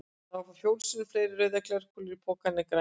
Það eru fjórum sinnum fleiri rauðar glerkúlur í pokanum en grænar.